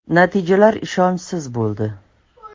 Natijalar ishonchsiz bo‘ldi.